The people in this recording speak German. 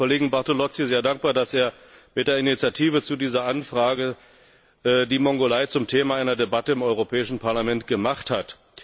Ich bin dem Kollegen Bartolozzi sehr dankbar, dass er mit der Initiative zu dieser Anfrage die Mongolei zum Thema einer Debatte im Europäischen Parlament gemacht hat.